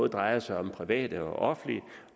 drejer sig om det private og det offentlige